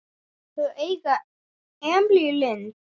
Þau eiga Emilíu Lind.